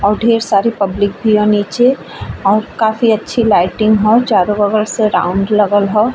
और ढ़ेर सारी पब्लिक भी ह नीचे और काफी अच्छी लाइटिंग हौ। चारों बगल से राउंड लगल हौ।